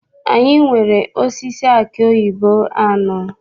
Anyị nwere osisi aki oyibo anọ.